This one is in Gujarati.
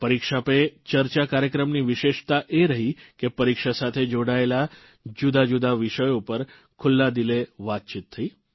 પરીક્ષા પે ચર્ચા કાર્યક્રમની વિશેષતા એ રહી કે પરીક્ષા સાથે જોડાયેલા જુદાજુદા વિષયો ઉપર ખુલ્લા દિલે વાતચીત થઇ